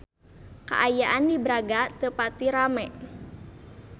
Kaayaan di Braga teu pati rame